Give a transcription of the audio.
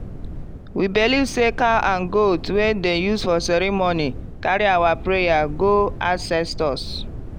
we believe say cow and goat wey dem use for ceremony carry our prayer go ancestors.